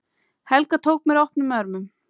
Helga tók mér opnum örmum.